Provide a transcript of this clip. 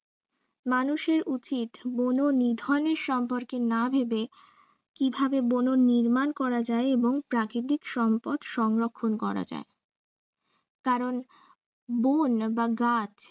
মানুষের উচিত বন নিধনের সম্পর্কে না ভেবে কিভাবে বন নির্মান করা যায় এবং প্রাকৃতিক সম্পদ সংরক্ষন করা যায় কারন বন বা গাছ